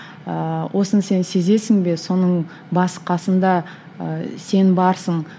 ыыы осыны сен сезесің бе соның басы қасында ы сен барсың